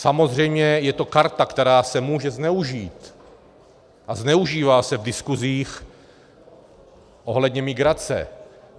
Samozřejmě je to karta, která se může zneužít a zneužívá se v diskusích ohledně migrace.